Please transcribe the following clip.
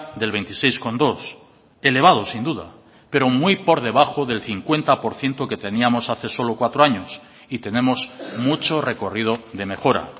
del veintiséis coma dos elevado sin duda pero muy por debajo del cincuenta por ciento que teníamos hace solo cuatro años y tenemos mucho recorrido de mejora